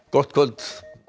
gott kvöld